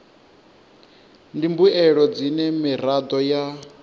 ndi mbuelo dzine miraḓo ya